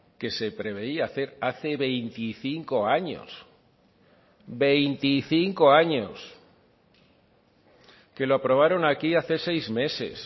que se preveía hacer hace veinticinco años veinticinco años que lo aprobaron aquí hace seis meses